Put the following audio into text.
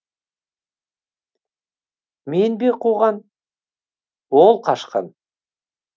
мен бе қуған ол қашқан